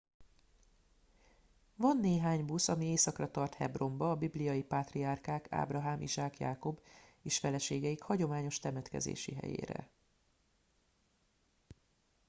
van néhány busz ami északra tart hebronba a bibliai pátriárkák ábrahám izsák jákob és feleségeik hagyományos temetkezési helyére